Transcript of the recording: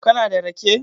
kana da rake?